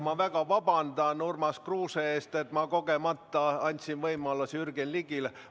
Ma väga vabandan Urmas Kruuse ees, et ma kogemata andsin võimaluse Jürgen Ligile.